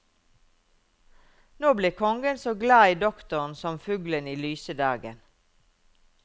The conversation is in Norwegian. Nå ble kongen så glad i doktoren som fuglen i lyse dagen.